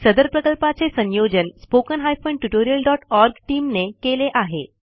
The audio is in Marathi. सदर प्रकल्पाचे संयोजन spoken tutorialओआरजी टीम ने केले आहे